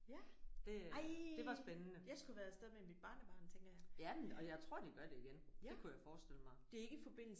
Det det var spændende. Ja men og jeg tror de gør det igen det kunne jeg forestille mig